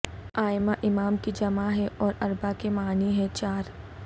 ائمہ امام کی جمع ہے اور اربعہ کے معنی ہیں چار